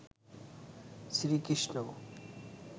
Shri Krishna